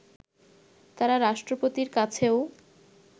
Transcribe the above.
তারা রাষ্ট্রপতির কাছেও